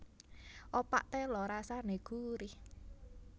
Opak téla rasané gurih